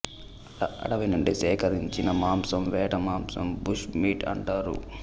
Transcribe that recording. అడవి నుండి సేకరించిన మాంసం వేటమాంసం బుష్ మీట్ అంటారు